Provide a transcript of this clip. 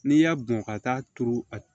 N'i y'a bɔn ka taa turu a